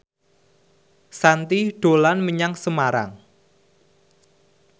Shanti dolan menyang Semarang